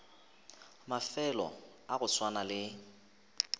mafelo a go swana le